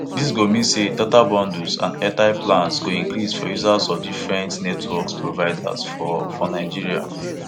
dis go mean say data bundles and airtime plans go increase for users of di different network providers for for nigeria